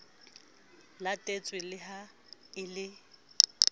latetswe le ha e le